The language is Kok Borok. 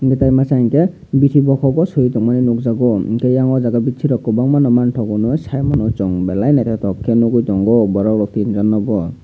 tei masa hingkhe biti bokog o soi tongmani nogjago hingke eyang o jaga biti rok kobangma no mangtogo saimano chung belai no naitok ke noigoi tango borok rok tin jon no no.